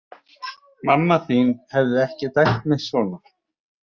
Mamma þín hefði ekki dæmt mig svona.